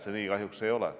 See nii kahjuks ei ole.